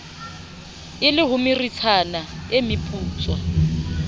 e le homeritshana e meputswa